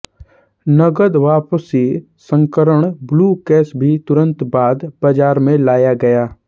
नकद वापसी संस्करण ब्लू कैश भी तुरंत बाद बाज़ार में लाया गया